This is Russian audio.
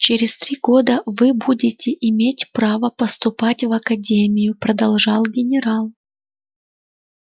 через три года вы будете иметь право поступать в академию продолжал генерал